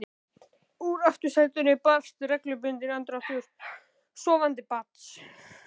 Úr aftursætinu barst reglubundinn andardráttur sofandi barns.